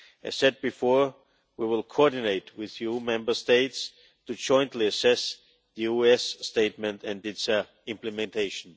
As I said before, we will coordinate with the EU Member States to jointly assess the US statement and its implementation.